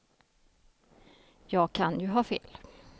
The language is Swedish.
Jag kan ju ha fel.